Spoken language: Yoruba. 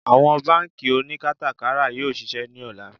Àwọn bánkì oníkátàkárà yóò ṣiṣẹ́ ní ọ̀la